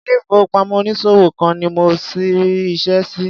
Ilé ìfowópamọ́ onísòwò kan ni mo rí iṣẹ́ sí.